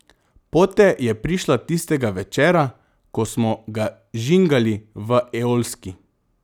Pote je prišla tistega večera, ko smo ga žingali v Eolski.